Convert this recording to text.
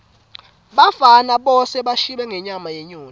bafana bosa bashibe ngenyama yenyoni